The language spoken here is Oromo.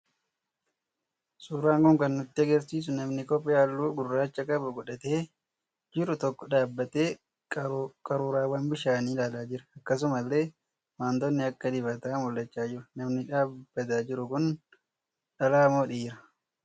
Suuraa kun kan nutti agarsiisu namni kophee halluu gurraacha qabu godhatee jiru tokko dhaabbatee Qaruuraawwan bishaanii ilaalaa jira. Akkasumallee wantoonni akka dibataa mul'achaa jiru. Namni dhaabbataa jiru kun dhalaa moo dhiira?